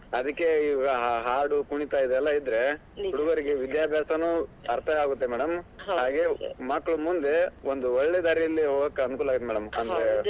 ಹಾಗೆ ಮಕ್ಕಳು ಮುಂದೆ ಒಂದು ಒಳ್ಳೆ ದಾರೀಲಿ ಹೋಗೋಕೆ ಅನುಕೂಲ ಆಗತ್ತೆ .